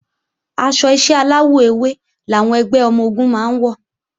Aṣọ iṣẹ́ aláwọ̀ ewé làwọn ẹgbẹ́ ọmọ-ogun máa ń wọ̀